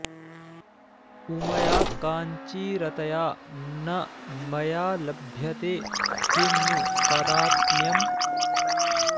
उमया काञ्चीरतया न मया लभ्यते किं नु तादात्म्यम्